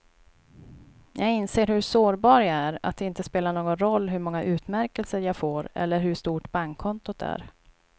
Jag inser hur sårbar jag är, att det inte spelar någon roll hur många utmärkelser jag får eller hur stort bankkontot är.